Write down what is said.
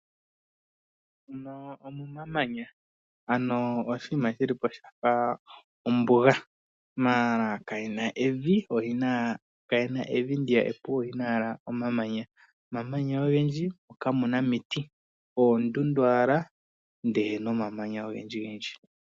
Omamanya , ano oshinima shilipo shafa oombuga, mala kayena evi ndiyaka epu, oyena ashike omamanya. Omamanya ogendji mo kamuna omiti, oondundu owala namamanya ogendji gendji.